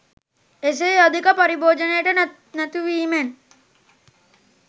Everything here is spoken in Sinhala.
එසේ අධික පාරිභෝජනයට නතුවීමෙන්